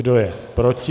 Kdo je proti?